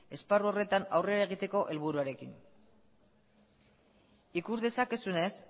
esparru horretan aurrera egiteko helburuarekin ikus dezakezunez